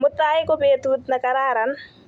Mutai ko petut ne kararan